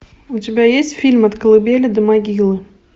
у тебя есть фильм от колыбели до могилы